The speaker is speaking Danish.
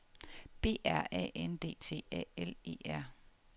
B R A N D T A L E R